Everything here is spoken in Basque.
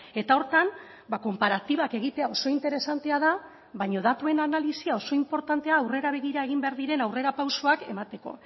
eta horretan konparatibak egitea oso interesantea da baina datuen analisia oso inportantea aurrera begira egin behar diren aurrerapausoak emateko